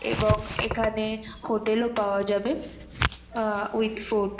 এবং এখানে হোটেল ও পাওয়া যাবে আ উইথ ফুড ।